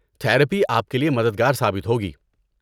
Therapy آپ کے لیے مددگار ثابت ہوگی۔